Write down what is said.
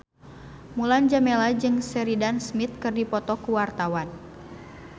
Mulan Jameela jeung Sheridan Smith keur dipoto ku wartawan